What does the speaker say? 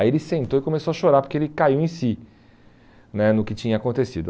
Aí ele sentou e começou a chorar porque ele caiu em si né no que tinha acontecido.